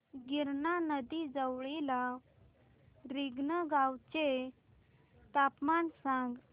गिरणा नदी जवळील रिंगणगावाचे तापमान सांगा